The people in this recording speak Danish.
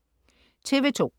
TV2: